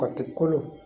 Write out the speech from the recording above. Kati kolo